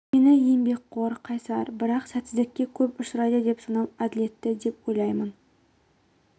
мені еңбекқор қайсар бірақ сәтсіздікке көп ұшырайды деп санау әділетті деп ойлаймын